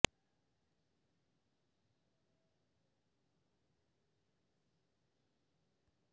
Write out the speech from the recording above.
red rose palace Nampally میں کل رشتوں کا دو بہ دو پروگرام